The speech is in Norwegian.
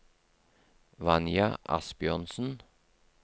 Vanja Asbjørnsen